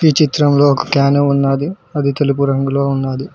ఈ చిత్రంలో ఒక క్యాను ఉన్నాది అది తెలుపు రంగులో ఉన్నాది.